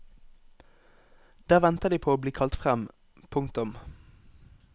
Der venter de på å bli kalt frem. punktum